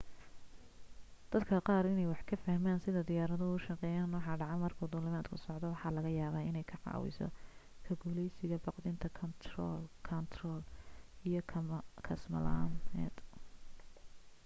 dadka qaar inay wax ka fahmaan sida diyaaraduhu u shaqeeyaan iyo waxa dhaca marka duulimaadku socdo waxa laga yaabaa inay ka caawiso ka guulaysiga baqdinta kaantarool iyo kasmo la'aaneed